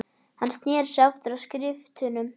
Hann sneri sér aftur að skriftunum.